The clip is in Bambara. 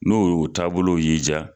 N'o y'u taabolow y'i jaa.